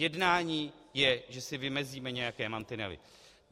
Jednání je, že si vymezíme nějaké mantinely.